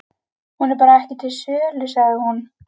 Hún er bara ekki til sölu, sagði hún.